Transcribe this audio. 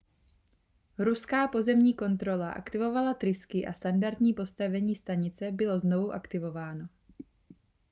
ruská pozemní kontrola aktivovala trysky a standardní postavení stanice bylo znovu aktivováno